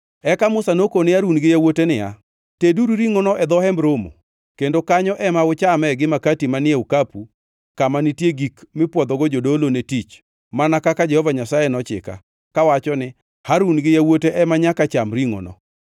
Eka Musa nokone Harun gi yawuote niya, “Teduru ringʼono e dho Hemb Romo, kendo kanyo ema uchame gi makati manie okapu kama nitie gik mipwodhogo jodolo ne tich, mana kaka Jehova Nyasaye nochika, kawacho ni, ‘Harun gi yawuote ema nyaka cham ringʼono.’